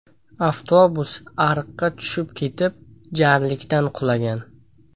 Avtobus ariqqa tushib ketib, jarlikdan qulagan.